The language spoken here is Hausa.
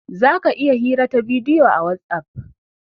Zaka iya hirar ta bidiyo a "Whatsapp".